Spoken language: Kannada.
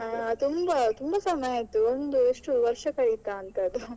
ಹಾ ತುಂಬಾ ತುಂಬಾ ಸಮಯ ಆಯ್ತು ಒಂದು ಎಷ್ಟೋ ವರ್ಷ ಕಳೆಯಿತ ಅಂತ ಅದು.